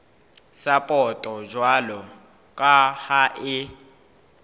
sapoto jwalo ka ha e